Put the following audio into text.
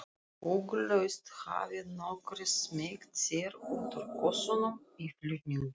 Ugglaust hafi nokkrir smeygt sér út úr kössunum í flutningunum.